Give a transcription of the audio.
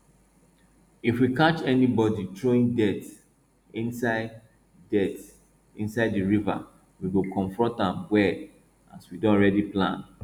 if we catch anybody throwing dirt inside dirt inside the river we go confront am well as we don already plan